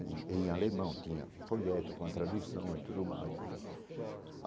Em em alemão tinha um folheto com a tradução e tudo mais né.